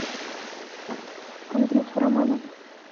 андрюху романова